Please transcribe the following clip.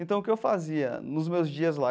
Então, o que eu fazia nos meus dias lá?